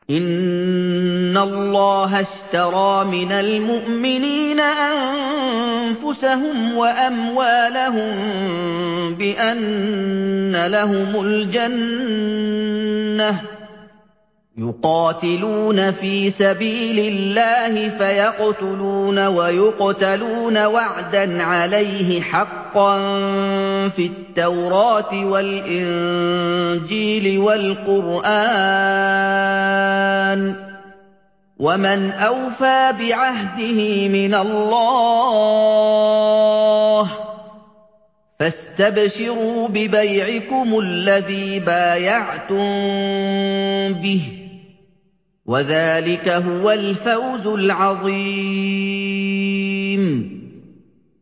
۞ إِنَّ اللَّهَ اشْتَرَىٰ مِنَ الْمُؤْمِنِينَ أَنفُسَهُمْ وَأَمْوَالَهُم بِأَنَّ لَهُمُ الْجَنَّةَ ۚ يُقَاتِلُونَ فِي سَبِيلِ اللَّهِ فَيَقْتُلُونَ وَيُقْتَلُونَ ۖ وَعْدًا عَلَيْهِ حَقًّا فِي التَّوْرَاةِ وَالْإِنجِيلِ وَالْقُرْآنِ ۚ وَمَنْ أَوْفَىٰ بِعَهْدِهِ مِنَ اللَّهِ ۚ فَاسْتَبْشِرُوا بِبَيْعِكُمُ الَّذِي بَايَعْتُم بِهِ ۚ وَذَٰلِكَ هُوَ الْفَوْزُ الْعَظِيمُ